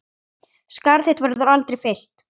Skarð þinn verður aldrei fyllt.